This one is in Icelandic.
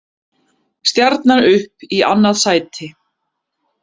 Stjarnan upp í annað sæti